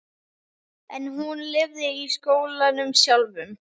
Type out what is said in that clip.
En hún lifði í skólanum sjálfum.